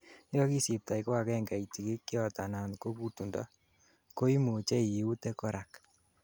yekakisibtoi koagengei tigikyot anan ko gutundo, koimuchei iute korak